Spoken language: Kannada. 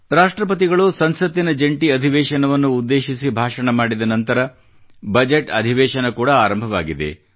ರಾಷ್ಟ್ರಪತಿಗಳು ಸಂಸತ್ತಿನ ಜಂಟಿ ಅಧಿವೇಶವನ್ನು ಉದ್ದೇಶಿಸಿ ಭಾಷಣ ಮಾಡಿದ ನಂತರ ಬಜೆಟ್ ಅಧಿವೇಶನ ಕೂಡಾ ಆರಂಭವಾಗಿದೆ